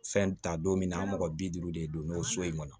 Fɛn ta don min na an mɔgɔ bi duuru de don n'o so in kɔnɔ